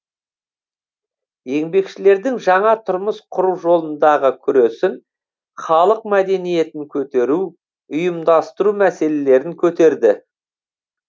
еңбекшілердің жаңа тұрмыс құру жолындағы күресін халық мәдениетін көтеру ұйымдастыру мәселелерін көтерді